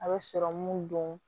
A bɛ sɔrɔmu don